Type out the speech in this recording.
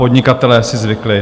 Podnikatelé si zvykli.